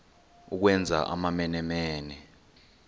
ukwenza amamene mene